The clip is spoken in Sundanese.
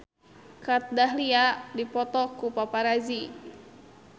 Kat Dahlia dipoto ku paparazi